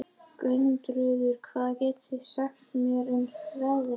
Gunnröður, hvað geturðu sagt mér um veðrið?